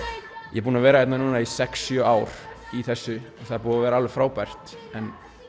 ég er búinn að vera hérna í sex sjö ár í þessu það er búið að vera alveg frábært